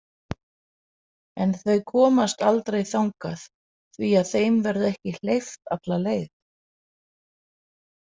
En þau komast aldrei þangað því að þeim verður ekki hleypt alla leið.